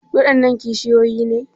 Waɗannan kishiyoyi ne?